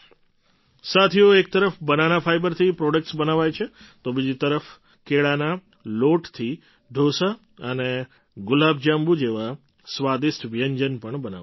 સાથીઓ એક તરફ બનાના ફાઇબરથી પ્રૉડક્ટ્સ બનાવાય છે તો બીજી તરફ કેળાના લોટથી ડોસા અને ગુલાબજાંબુ જેવાં સ્વાદિષ્ટ વ્યંજન પણ બનાવાય છે